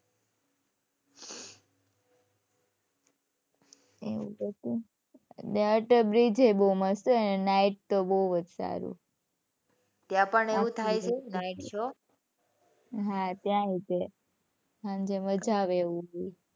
એવું તો શું. અટલ બ્રિજય બહુ મસ્ત. night તો બહુ જ સારું, ત્યાં પણ એવું થાય છે night show હાં ત્યાંય તે સાંજે મજા આવે એવું.